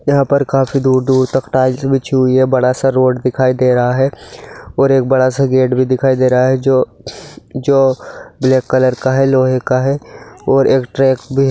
यहाँ पर काफी दूर दूर तक टाइल्स बिछी हुई है बड़ा स रोड दिखाई दे रहा है और एक बड़ा सा गेट भी दिखाई दे रहा है जो ब्लैक कलर का है लोहे का है और एक ट्रक भी है।